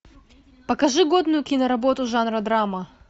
покажи годную киноработу жанра драма